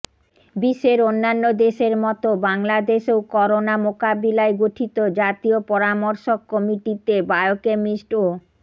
বিশ্বের অন্যান্য দেশের মতো বাংলাদেশেও করোনা মোকাববিলায় গঠিত জাতীয় পরামর্শক কমিটিতে বায়োকেমিস্ট ও